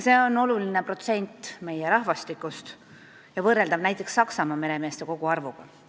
See on oluline protsent meie rahvastikust ja võrreldav näiteks Saksamaa meremeeste koguarvuga.